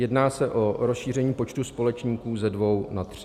Jedná se o rozšíření počtu společníků ze dvou na tři.